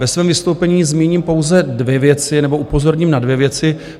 Ve svém vystoupení zmíním pouze dvě věci nebo upozorním na dvě věci.